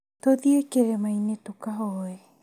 Tũthiĩ kĩrĩma-inĩ tukahoe